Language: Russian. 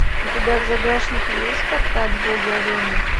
у тебя в загашнике есть спартак боги арены